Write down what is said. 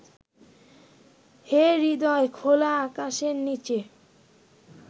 হে হৃদয়, খোলা আকাশের নিচে